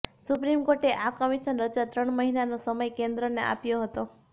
supreme કોર્ટે આ commission રચવા ત્રણ મહિનાનો સમય કેન્દ્રને આપ્યો હતો